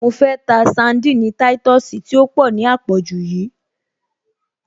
Mo fẹ́ ta sandini táìtọ̀sì tí ó pọ̀ ní à pọ̀jù yíì